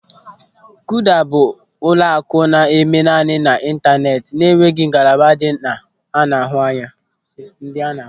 Kuda bụ ụlọaku na-eme naanị n'Ịntaneti na-enweghị ngalaba ndị a na-ahụ anya.